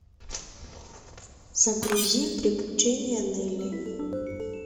загрузи приключения нелли